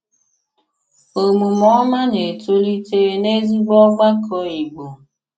Òmùmè òmá na-etòlítè n'ezìgbò ògbàkọ Ìgbò.